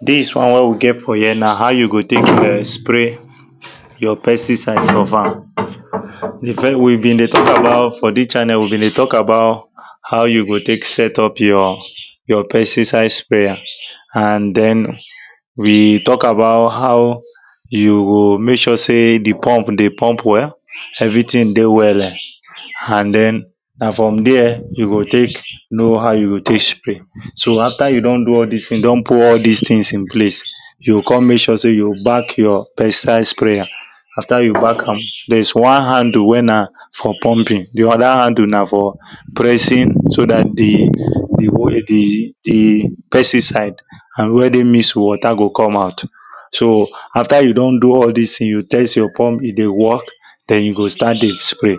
this one wey we get for here na how you go take e?n spray your pesticide for farm before we been dey talk about for this channel we been dey talk about how you go take set up your your pesticide sprayer and then we talk about how you go make sure say the pump dey pump well everything dey we?le? and then na from there you go take know how you go take spray so after you don do all this you don put all this things in place you go come make sure say you back your pesticide sprayer after you back am there is one handle wey na for pumping the other handle na for pressing so that the the wo e the the pesticide and already mixed water go come out so after you don do all this things you test your pump e dey work then you go start dey spray